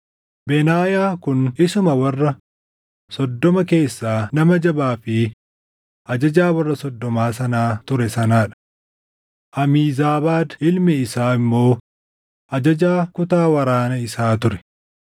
Benaayaa kun isuma warra soddoma keessaa nama jabaa fi ajajaa warra soddoma sanaa ture sanaa dha. Amiizaabaad ilmi isaa immoo ajajaa kutaa waraana isaa ture.